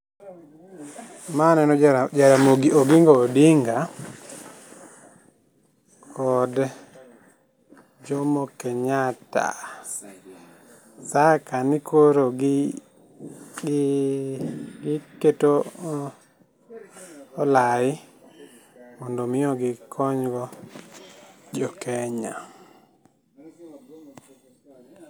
Ma aneno Jaramogi Oginga Odinga kod Jomo Kenyatta. Sa kani koro gi, gi keto olai mondo omi gikonygo jokenya.